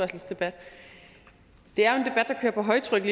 debat der kører på højtryk